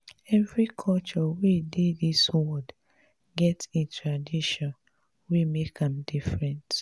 every culture wey dey dis world get em tradition wey make am different.